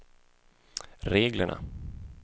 reglerna